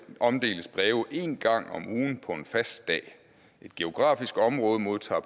omdeles breve en gang om ugen på en fast dag et geografisk område modtager